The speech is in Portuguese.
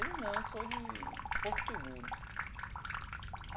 Ele, não, eu sou de Porto Seguro.